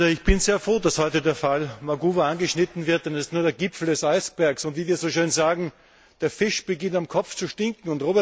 Ich bin sehr froh, dass heute der Fall Maguwu angeschnitten wird, denn er ist nur der Gipfel des Eisbergs, und wie wir so schön sagen Der Fisch beginnt am Kopf zu stinken.